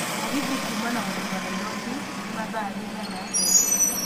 mũgithi kuuma na gukinya nairobi ni mathaa riĩgana atĩa